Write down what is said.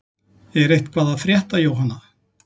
Er eitthvað að frétta Jóhanna?